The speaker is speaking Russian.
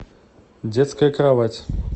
детская кровать